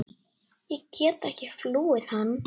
Ég get ekki flúið hann.